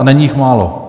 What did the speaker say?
A není jich málo.